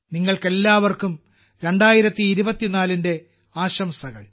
നിങ്ങൾക്കെല്ലാവർക്കും 2024ന്റെ ആശംസകൾ